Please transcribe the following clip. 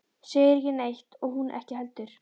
Segir ekki neitt og hún ekki heldur.